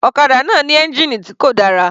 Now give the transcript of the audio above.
Ọ̀kadà náà ní ẹ́ngìnì tí kò dára.